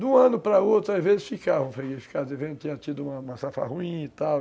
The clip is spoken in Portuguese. De um ano para o outro, às vezes, ficava devendo, tinha tido uma safra ruim e tal.